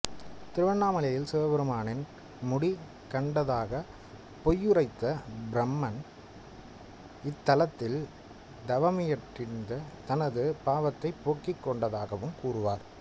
திருவண்ணாமலையில் சிவபெருமானின் முடி கண்டதாகப் பொய்யுரைத்த பிரமன் இத்தலத்தில் தவமியற்றித் தனது பாவத்தைப் போக்கிக் கொண்டதாகவும் கூறுவர்